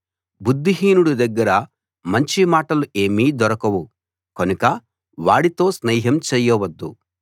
బుద్ధిహీనుడి దగ్గర మంచి మాటలు ఏమీ దొరకవు కనుక వాడితో స్నేహం చేయవద్దు